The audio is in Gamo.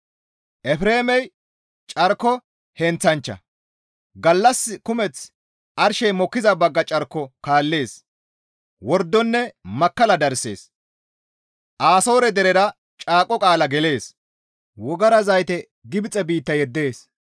Efreemey carko heenththanchcha; gallas kumeth arshey mokkiza bagga carko kaallees; wordonne makkalla darsees. Asoore deraara caaqo qaala gelees; wogara zayte Gibxe biitta yeddees.